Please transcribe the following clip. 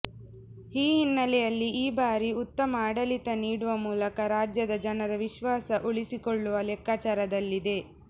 ಆ ಹಿನ್ನೆಲೆಯಲ್ಲಿ ಈ ಬಾರಿ ಉತ್ತಮ ಆಡಳಿತ ನೀಡುವ ಮೂಲಕ ರಾಜ್ಯದ ಜನರ ವಿಶ್ವಾಸ ಉಳಿಸಿಕೊಳ್ಳುವ ಲೆಕ್ಕಾಚಾರದಲ್ಲಿದೆ